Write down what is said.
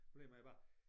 Problemet er bare